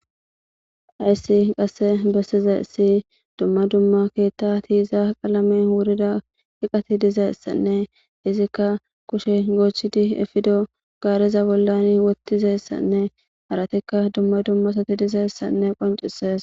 Hayssi qasse bessizsi dumma dumma keeththa tiiza qaalame wurida hiqati dizeessanne izikka kushe goochchidi eppido gaareza bollani wotizessanne haratikka dumma dumma asati dizessanne qoncisees.